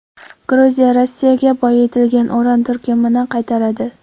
Gruziya Rossiyaga boyitilgan uran turkumini qaytaradi.